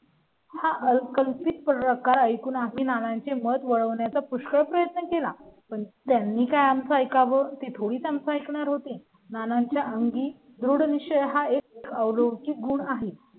हाल कल्पित प्रकार ऐकून आम्ही नानांची मत वळवण्या चा पुष्कळ प्रयत्न केला, पण त्यांनी काय आम चं ऐकावं ती थोडी संपणार होती. नानांच्या अंगी थोडं विषय हा एक रोजी गुण आहेत.